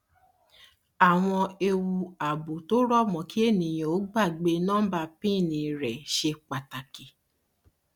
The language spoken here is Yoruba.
àwọn ewu ààbò tó rọ mọ kí ènìyàn ó gbàgbé nọmbà pin rẹ ṣe pàtàkì